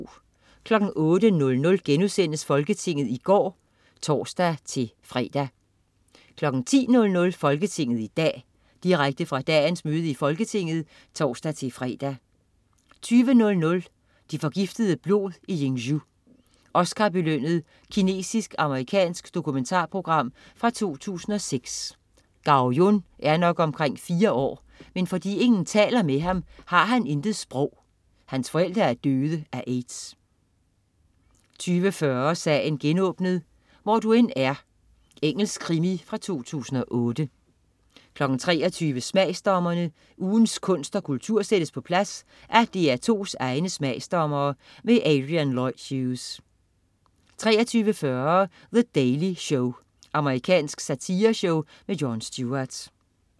08.00 Folketinget i går* (tors-fre) 10.00 Folketinget i dag. Direkte fra dagens møde i Folketinget (tors-fre) 20.00 Det forgiftede blod i Yingzhou. Oscarbelønnet kinesisk/amerikansk dokumentarprogram fra 2006. Gao Jun er nok omkring fire år, men fordi ingen taler med ham, har han intet sprog. Hans forældre er døde af AIDS 20.40 Sagen genåbnet: Hvor du end er. Engelsk krimi fra 2008 23.00 Smagsdommerne. Ugens kunst og kultur sættes på plads af DR2's egne smagsdommere. Adrian Lloyd Hughes 23.40 The Daily Show. Amerikansk satireshow med Jon Stewart